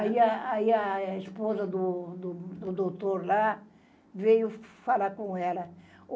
Aí a, aí a esposa do do do doutor lá veio falar com ela.